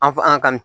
An f an ŋa